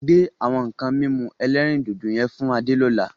Gbe àwọn nǹkan mímu ẹlẹ́rìndòdò yẹn fún Adé ni ọ̀la.